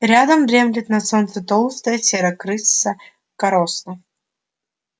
рядом дремлет на солнце толстая серая крыса короста